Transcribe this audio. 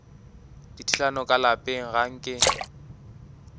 dithulano ka lapeng ga nke